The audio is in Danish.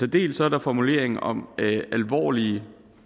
dels er der formuleringen om alvorlige